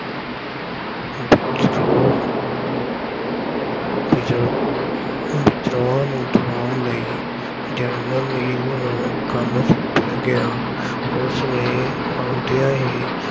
ਵਿਦਰੋਹ ਵਿਦਰੋਹਾਂ ਨੂੰ ਦਬਾਉਣ ਲਈ ਜਰਨਲ ਨੀਲ ਨੂੰ ਕੰਮ ਸੌਂਪਿਆ ਗਿਆ। ਉਸਨੇ ਆਉਂਦਿਆਂ ਹੀ